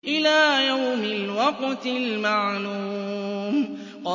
إِلَىٰ يَوْمِ الْوَقْتِ الْمَعْلُومِ